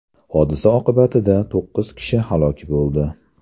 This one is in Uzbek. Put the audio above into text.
Hodisa oqibatida to‘qqiz kishi halok bo‘ldi.